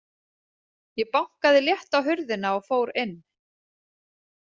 Ég bankaði létt á hurðina og fór inn.